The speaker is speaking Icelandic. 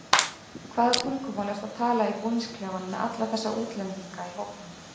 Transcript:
Hvaða tungumál ertu að tala í búningsklefanum með alla þessa útlendinga í hópnum?